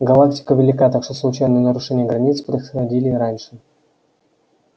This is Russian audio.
галактика велика так что случайные нарушения границ происходили и раньше